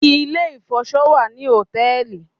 Ilé-ìfọṣọ wà ní hòtẹ́ẹ̀lì